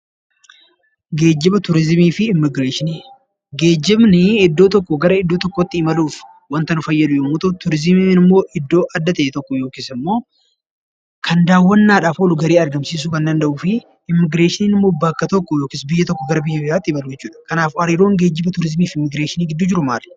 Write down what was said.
Geejjiba, turizimii fi immigireeshinii. Geejjibnii iddoo tokkoo gara iddoo tokkootti imaluuf wanta nu fayyadu yemmuu ta'u turizimiin immoo iddoo adda ta'e tokko yookis immoo kan daawwannaadhaaf oolu, galii argamsiisuu kan danda'uu fi immigireeshinin immoo bakka tokkoo yookis biyya tokkoo gara biyya biraatti imaluu jechuudha, Kanaaf hariiroon geejjibi, turizimii fi immigireeshinii gidduu jiru maali?